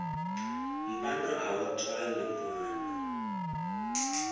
mpandwa a wu tswali nwana